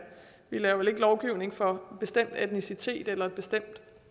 vi laver vel ikke lovgivning for bestemt etnicitet eller et bestemt